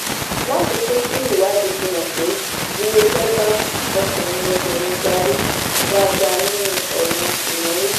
láfikún sí i ìwádìí fi hàn pé iléeṣẹ́ bá ọkùnrin obìnrin darí dáadáa nínú ọ̀ràn ìnáwó.